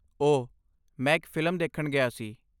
ਓਹ, ਮੈਂ ਇੱਕ ਫਿਲਮ ਦੇਖਣ ਗਿਆ ਸੀ।